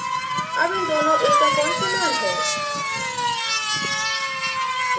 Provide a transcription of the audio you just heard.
अब इन दोनों a का fonts समान है